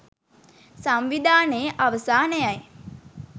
සංවිධානයේ අවසානයයි